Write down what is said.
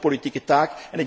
Dat is onze politieke